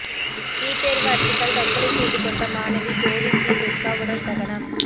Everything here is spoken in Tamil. நீட் தேர்வு அச்சத்தால் தற்கொலை செய்து கொண்ட மாணவி ஜோதி ஸ்ரீதுர்கா உடல் தகனம்